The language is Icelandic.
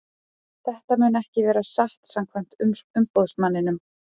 Þetta mun ekki vera satt samkvæmt umboðsmanninum.